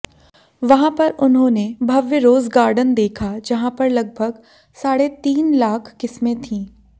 वहां पर उन्होंने भव्य रोज गार्डन देखा जहां पर लगभग साढ़े तीन लाख किस्में थी